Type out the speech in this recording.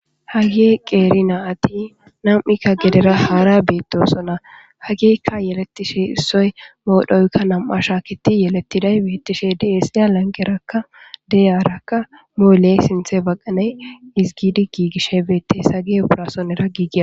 Hage qeeri naayti nam'ikka gedera haara beettosona. Hagekka yeletishi issoy medhoyikka nam'a shaakidi yelettiday beettishe dees. Lanqerakka de'iyaarakka mule sinthe baqaney ezigidi giigishshe beettes.sagi uffayisoonera giigaa.